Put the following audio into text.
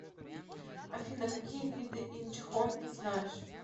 афина какие виды инчхон ты знаешь